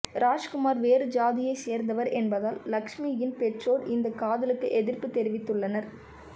ராஜ்குமார் வேறு ஜாதியை சேர்ந்தவர் என்பதால் லக்ஷ்மியின் பெற்றோர் இந்த காதலுக்கு எதிர்ப்பு தெரிவித்துள்ளனர்